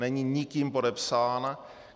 Není nikým podepsán.